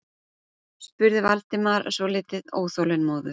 spurði Valdimar svolítið óþolinmóður.